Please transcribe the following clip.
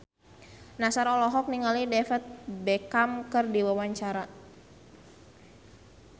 Nassar olohok ningali David Beckham keur diwawancara